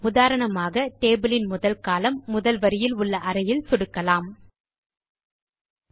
உதாரணமாக டேபிள் யின் முதல் கோலம்ன் முதல் வரியில் உள்ள அறையில் சொடுக்குவோம்